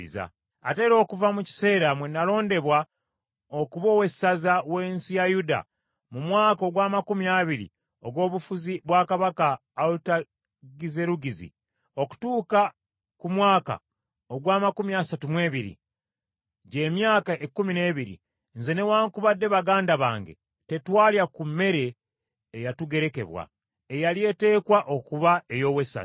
Ate era okuva mu kiseera mwe nalondebwa okuba owessaza w’ensi ya Yuda, mu mwaka ogw’amakumi abiri ogw’obufuzi bwa Kabaka Alutagizerugizi okutuuka ku mwaka ogw’amakumi asatu mu ebiri, gy’emyaka ekkumi n’ebiri, nze newaakubadde baganda bange tetwalya ku mmere eyatugerekebwa, eyali eteekwa okuba ey’owessaza.